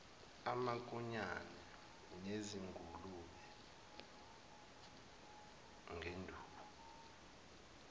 amankonyane nezingulube ngenduku